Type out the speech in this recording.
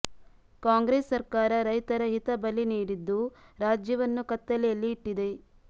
ಕಾಂಗ್ರೆಸ್ ಸರ್ಕಾರ ರೈತರ ಹಿತ ಬಲಿ ನೀಡಿದ್ದು ರಾಜ್ಯವನ್ನು ಕತ್ತಲೆಯಲ್ಲಿ ಇಟ್ಟಿದೆ